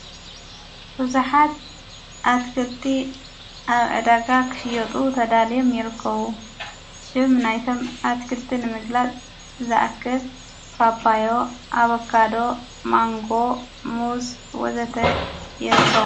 ቡዙኃት ኣትክልቲ ኣብ ዕዳጋ ኽሽጡ ተዳልዮም ይርከዉ። ሽም ናይቶም ኣትክልቲ ንምግላጽ ዝኣክል ጳጳዮ ፣ኣበካዶ፣ ማንጎ ሙዝ ወዘተ እዮም።